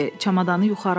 Çamadanı yuxarı atdı.